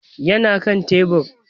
Yana kan tebur